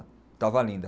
Estava linda.